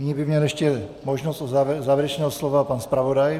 Nyní by měl ještě možnost závěrečného slova pan zpravodaj.